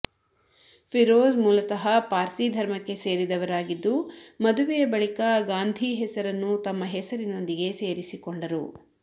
ಫಿರೋಜ್ ಮೂಲತಃ ಪಾರ್ಸಿ ಧರ್ಮಕ್ಕೆ ಸೇರಿದವರಾಗಿದ್ದು ಮದುವೆಯ ಬಳಿಕ ಗಾಂಧಿ ಹೆಸರನ್ನು ತಮ್ಮ ಹೆಸರಿನೊಂದಿಗೆ ಸೇರಿಸಿಕೊಂಡರು